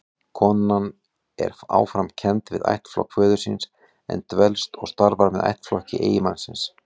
Konan er áfram kennd við ættflokk föður síns, en dvelst og starfar með ættflokki eiginmannsins.